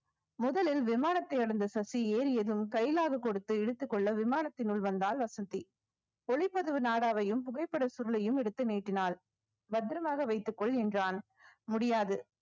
முதலில் விமானத்தை அடைந்த சசி ஏறியதும் கைலாகு கொடுத்து இழுத்துக்கொள்ள விமானத்தினுள் வந்தாள் வசந்தி ஒளிப்பதிவு நாடாவையும் புகைப்பட சுருளையும் எடுத்து நீட்டினாள் பத்திரமாக வைத்துக்கொள் என்றான் முடியாது